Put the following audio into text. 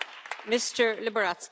Pani Przewodnicząca!